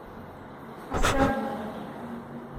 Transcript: островной